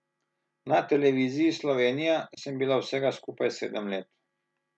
Na Televiziji Slovenija sem bila vsega skupaj sedem let.